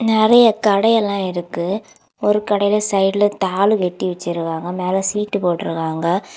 நிறைய கடை எல்லாம் இருக்கு. ஒரு கடையில சைடுல தாலு வெட்டி வச்சிருக்காங்க. மேல சீட்டு போட்டு இருக்காங்க.